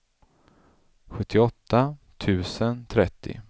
sjuttioåtta tusen trettio